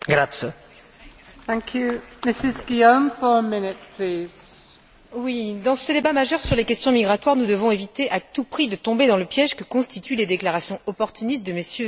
Madame la Présidente, dans ces débats majeurs sur les questions migratoires, nous devons éviter à tout prix de tomber dans le piège que constituent les déclarations opportunistes de MM.